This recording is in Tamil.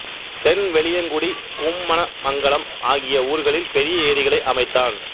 தென் வெளியங்குடி கும்மமணமங்கலம் ஆகிய ஊர்களில் பெரிய ஏரிகளை அமைத்தான்